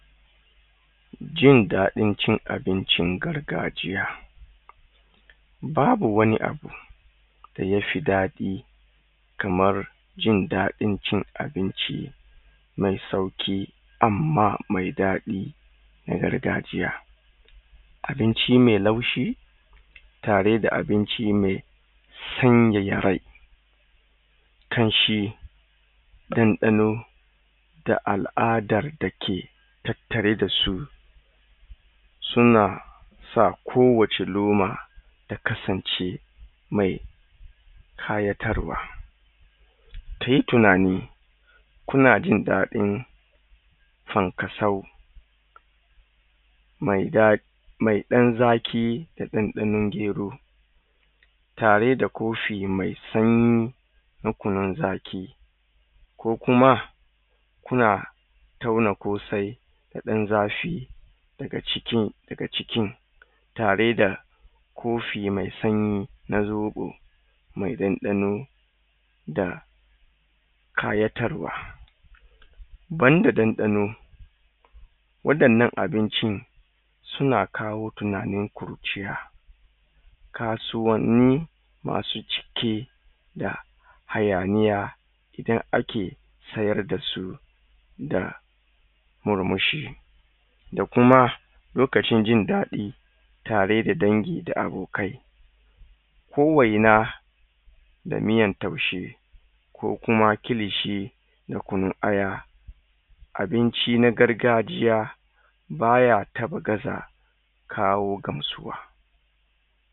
jin daɗin cin abincin gargajiya babu wani abu dayafi daɗi kamar jin daɗin cin abinci mai sauki amma mai daɗi na gargajiya abinci mai laushi tare da abinci mai sanyaya rai ƙanshi ɗanɗano da aladar dake tattare dasu suna sa kowacce loma su kasance mai ƙayatarwa kai tunani kuna jinɗaɗin fankasau mai daɗi mai ɗan zaƙi da ɗanɗanon gero tare da kofi mai sanyi na kunun zaƙi ko kuma suna toya kosai da dan zafi daga cikin daga cikin tare da kofi mai sanyi na zoɓo mai ɗanɗano da ƙayatarwa banda ɗanɗano waɗannan abincin suna kawo tunanin kurciya kasuwanni masu cike da hayaniya inda ake sayar dasu da murmushi da kuma lokacin zai ɗaɗi tare da dangi da abokai ko waina da miyan taushe ko kuma kilishi da kunun aya abinci na gargajiya baya kar ya gaza kawo gamsuwa